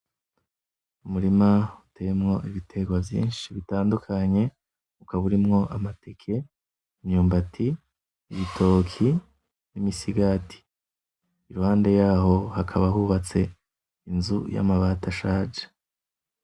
Umurima uteyemwo ibiterwa vyinshi bitandukanye ukaba urimwo: amateke, imyumbati, ibitoki, imisigati iruhande yaho hakaba hubatse inzu y'amabati ashaje.